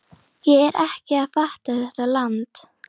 Ég er ekki að fatta þetta land.